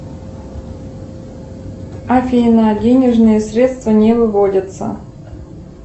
афина денежные средства не выводятся